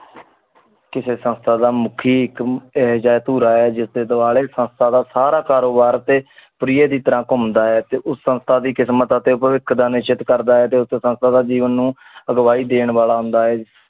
ਕਿਸੀ ਸੰਸਥਾ ਮੁਖੀ ਟੀ ਜਾ ਤੁਰਾਯ੍ਜ ਦੇ ਸੰਸਥਾ ਸਾਰਾ ਖਾਰੋਬਰ ਟੀ ਪਰੇਅਰ ਦੀ ਤਰਹ ਕੁਮ ਦਾ ਆਏ ਉਸ ਕਿਸਮਤ ਦਾ ਤਾ ਇਕ ਦਾ ਨਿਸ਼ਾਤ ਕੇਰ ਦਾ ਆਏ ਤੋ ਉਤੋਂ ਸਾਸ ਦਾ ਜੀਵਨ ਨੂ ਗਵਾਹੀ ਦਿਨ ਦਿਨ ਵਾਲਾ ਹੁੰਦਾ ਹੈ